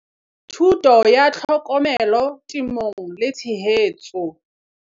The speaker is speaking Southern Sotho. Thuto ya Tlhokomelo Temong le Tshehetso.